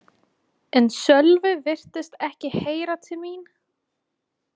En Sölvi virtist ekki heyra til mín.